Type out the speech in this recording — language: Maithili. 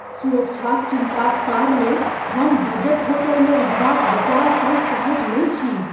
सुरक्षाक चिन्ता क कारणेँ हम बजट होटलमे रहबाक विचारसँ सहज नहि छी।